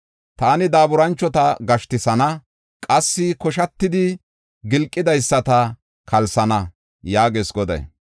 Taani daaburanchota gashtisana; qassi koshatidi gilqidaysata kalsana” yaagees Goday.